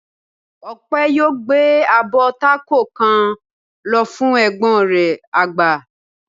Ọpẹ̀ yóò gbé abọ́ tákò kan lọ fún ẹ̀gbọ́n rẹ̀ àgbà.